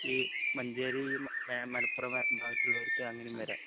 ഈ മഞ്ചേരി മ മലപ്പുറം ഭാഗത്തുള്ളവർക്കു അങ്ങനെയും വരാം